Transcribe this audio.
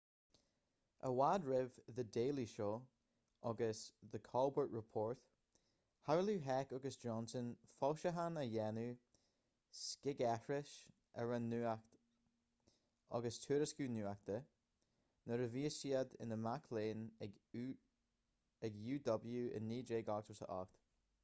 i bhfad roimh the daily show agus the colbert report shamhlaigh heck agus johnson foilseachán a dhéanamh scigaithris ar an nuacht agus tuairisciú nuachta-nuair a bhí siad ina mic léinn ag uw i 1988